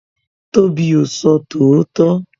Tobi o sọ tòótọ́